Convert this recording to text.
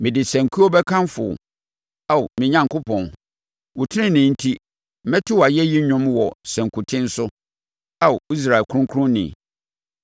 Mede sankuo bɛkamfo wo Ao me Onyankopɔn, wo tenenee enti mɛto wʼayɛyi dwom wɔ sankuten so Ao Israel Kronkronni.